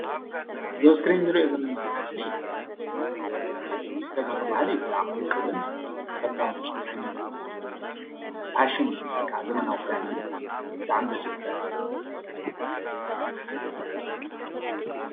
እዚ ኣብ እስክሪን እንሪኦ ዘለና ምስሊ ብተጋሩ ባህሊ ብጣዕሚ ውቅብን ተፈዊን ዓይነት ፋሽን እዩ ወይ ከዓ ዘመናዊ ዘመናዊ እዩ፡፡ ብጣዕሚ ዳስ ዝብል ክዳን እዩ፡፡